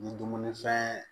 Ni dumuni fɛn